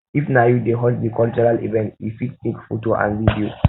if na you dey host di cultural event you fit take photo and video